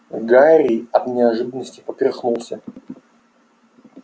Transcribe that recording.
гарри от неожиданности поперхнулся